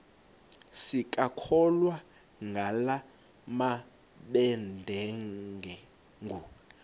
sisakholwa ngala mabedengu